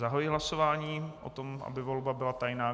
Zahajuji hlasování o tom, aby volba byla tajná.